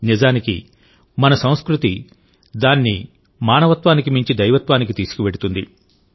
నిజానికిమన సంస్కృతి దాన్ని మానవత్వానికి మించి దైవత్వానికి తీసుకువెళుతుంది